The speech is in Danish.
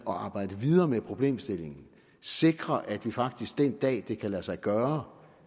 at arbejde videre med problemstillingen og sikre at vi faktisk den dag det kan lade sig gøre